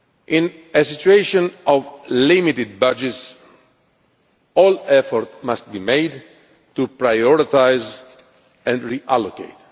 In a situation of limited budgets, all efforts must be made to prioritise and reallocate.